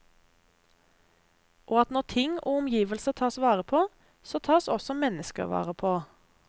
Og at når ting og omgivelser tas vare på, så tas også mennesker vare på.